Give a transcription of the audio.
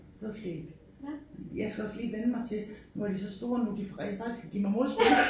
Så skægt. Jeg skal også lige vænne mig til når de så store nu de rent faktisk kan give mig modspil